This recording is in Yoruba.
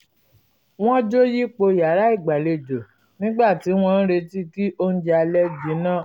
wọ́n jó yípo yàrá igbalejo nígbà tí wọ́n ń retí kí oúnjẹ alẹ́ jinná